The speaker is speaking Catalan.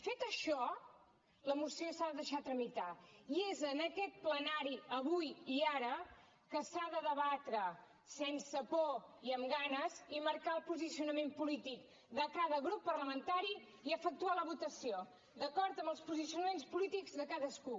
fet això la moció s’ha de deixar tramitar i és en aquest plenari avui i ara que s’ha de debatre sense por i amb ganes i marcar el posicionament polític de cada grup parlamentari i efectuar la votació d’acord amb els posicionaments polítics de cadascú